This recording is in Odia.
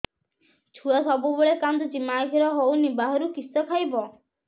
ଛୁଆ ସବୁବେଳେ କାନ୍ଦୁଚି ମା ଖିର ହଉନି ବାହାରୁ କିଷ ଖାଇବ